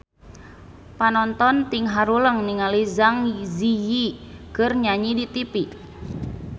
Panonton ting haruleng ningali Zang Zi Yi keur nyanyi di tipi